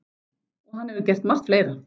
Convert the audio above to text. Og hann hefur gert margt fleira.